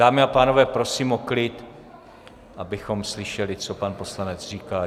Dámy a pánové, prosím o klid, abychom slyšeli, co pan poslanec říká.